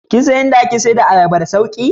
Kin dan in da ake sayar da ayaba da sauki?